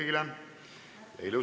Istungi lõpp kell 11.32.